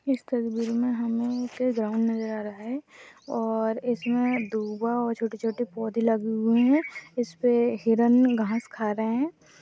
इस तस्वीर में हमें एक ग्राउंड नज़र आ रहा है और इसमें दूबा और छोटे छोटे पौधे लगे हुए हैं इसपर हिरण घास खा रहा है।